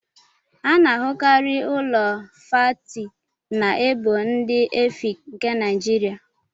A na ahụkarị Ụlọ fáátị na ébò ndị Efịịki nke Naijiria